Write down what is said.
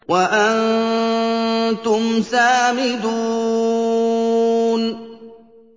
وَأَنتُمْ سَامِدُونَ